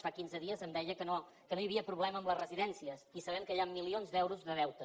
fa quinze dies em deia que no hi havia problema amb les residències i sabem que hi ha milions d’euros de deute